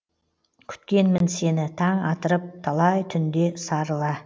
күткенмін сені таң атырып талай түнде сарыла